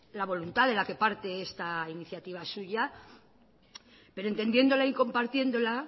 la voluntad de la que parte esta iniciativa suya pero entendiéndola y compartiéndola